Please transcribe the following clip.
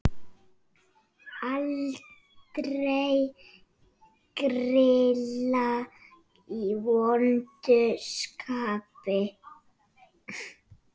Aldrei grilla í vondu skapi.